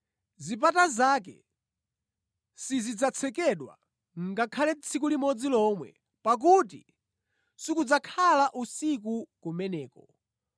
Zipata zake sizidzatsekedwa ngakhale tsiku limodzi lomwe pakuti sikudzakhala usiku kumeneko.